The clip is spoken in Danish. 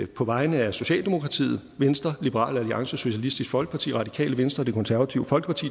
på vegne af socialdemokratiet venstre liberal alliance socialistisk folkeparti radikale venstre og det konservative folkeparti